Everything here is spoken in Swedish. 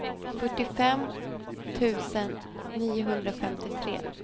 fyrtiofem tusen niohundrafemtiotre